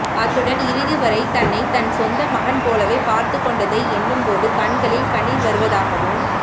அத்துடன் இறுதி வரை தன்னை தன் சொந்த மகன் போலவே பார்த்துக் கொண்டதை எண்ணும் போது கண்களில் கண்ணீர் வருவதாகவும்